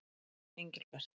Engilbert